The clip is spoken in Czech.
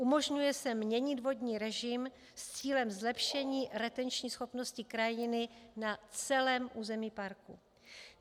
Umožňuje se měnit vodní režim s cílem zlepšení retenční schopnosti krajiny na celém území parku.